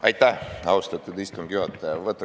Aitäh, austatud istungi juhataja!